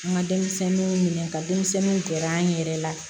An ka denmisɛnninw minɛ ka denmisɛnninw gɛrɛ an yɛrɛ la